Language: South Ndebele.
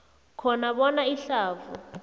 khona bona ihlavu